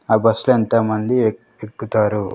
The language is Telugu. ఆ బస్ లో ఎంతోమంది ఎక్-- ఎక్కుతారు.